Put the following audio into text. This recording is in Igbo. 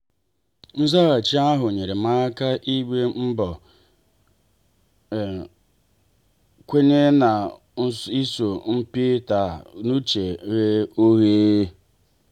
nzaghachi ahụ nyeere m aka ịgba mbọ kwenye na iso mpi taa n'uche ghe oghe.